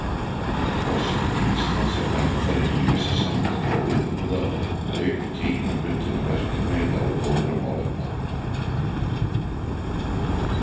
Forseti Íslands er verndari ýmissa samtaka og viðburða auk tímabundinna verkefna í þágu góðra málefna.